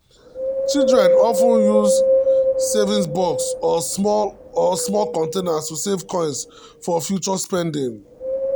children of ten use saving box or small or small containers to save coins for future spending.